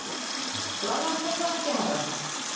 Blaðran fer þá ekki hærra.